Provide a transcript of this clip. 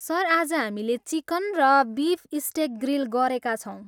Sir, आज हामीले chicken र बिफ स्टेक ग्रिल गरेका छौँ।